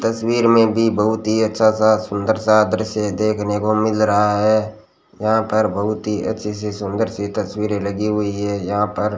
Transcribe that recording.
तस्वीर में भी बहुत ही अच्छा सा सुंदर सा दृश्य देखने को मिल रहा है यहां पर बहुत ही अच्छी सी सुंदर सी तस्वीरें लगी हुई है यहां पर --